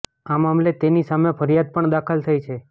આ મામલે તેની સામે ફરિયાદ પણ દાખલ થઈ છે